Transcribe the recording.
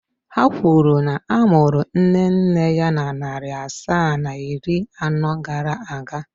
Ha kwuru na a mụrụ nne nne ya na narị asaa na iri anọ gara aga.